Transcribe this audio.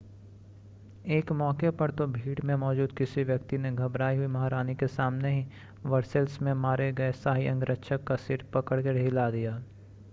एक मौके पर तो भीड़ में मौजूद किसी व्यक्ति ने घबराई हुई महारानी के सामने ही वर्सेल्स में मारे गए शाही अंगरक्षक का सिर पकड़कर हिला दिया